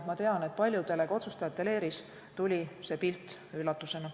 Ma tean, et paljudele ka otsustajate leeris tuli see pilt üllatusena.